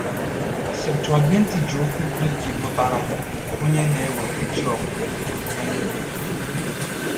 Septụaginti ji okwu Grik pụtara “onye na-eweta chi ọbụbọ” mee ihe.